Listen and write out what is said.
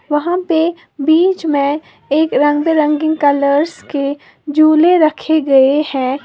वहां पे बीच में एक रंग बिरंगी कलर्स के झूले रखे गए हैं।